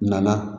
Nana